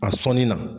A sɔnni na